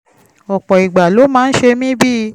ọ̀pọ̀ ìgbà ló máa ń ṣe mí bíi